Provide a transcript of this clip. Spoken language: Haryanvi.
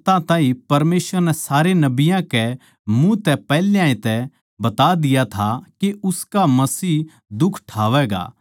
पर जिन बात्तां ताहीं परमेसवर नै सारे नबियाँ के मुँह तै पैहल्याए तै बता दिया था के उसका मसीह दुख ठावैगा